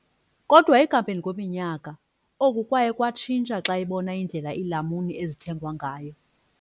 Kodwa ekuhambeni kweminyaka, oku kwaye kwatshintsha xa ebona indlela iilamuni ezithengwa ngayo.